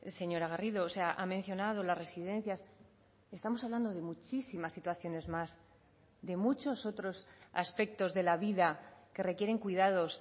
señora garrido o sea ha mencionado las residencias estamos hablando de muchísimas situaciones más de muchos otros aspectos de la vida que requieren cuidados